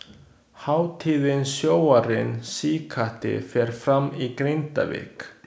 Hátíðin Sjóarinn síkáti fer fram í Grindavík.